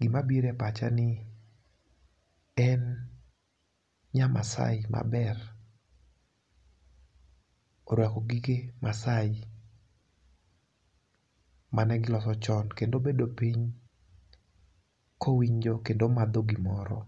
gima bire pacha ni en nya Masaai maber orwako gige Masaai mane giloso chon, kendo obedo piny kowinjo kendo omadho gimoro